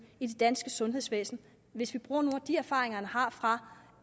i det danske sundhedsvæsen hvis vi bruger nogle af de erfaringer han har fra